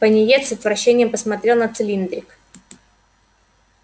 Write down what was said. пониетс с отвращением посмотрел на цилиндрик